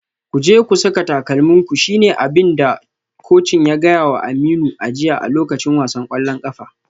Ku je ku saka takalminku shi ne abin da kocin ya gaya wa Aminu a jiya a lokacin wasan kwallon kafa.